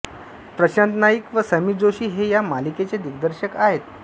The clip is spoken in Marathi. प्रशांत नाईक व समीर जोशी हे या मालिकेचे दिग्दर्शक आहेत